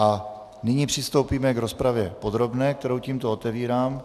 A nyní přistoupíme k rozpravě podrobné, kterou tímto otevírám.